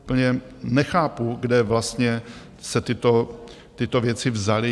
Úplně nechápu, kde vlastně se tyto věci vzaly.